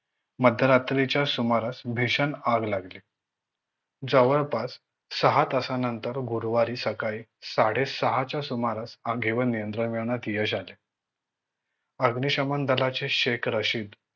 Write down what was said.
मध्यरात्रीच्या सुमारास भीषण आग लागली. जवळपास सहा तासानंतर गुरुवारी सकाळी साढे सहा च्या सुमारास आगीवर नियंत्रण मिळवण्यात यश आले अग्निशमन दलाचे शेख रशीद